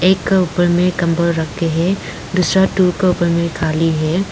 एक का ऊपर में कम्बल रख के है दूसरा टूल के ऊपर में खाली है।